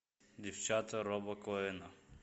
девчата роба коэна